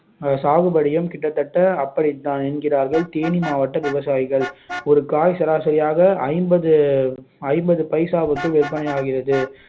சாகுபடியும் கிட்டத்தட்ட அப்படித்தான் என்கிறார்கள் தேனி மாவட்ட விவசாயிகள் ஒரு காய் சராசரியாக ஐம்பது ஐம்பது பைசாவிற்கு விற்பனையாகிறது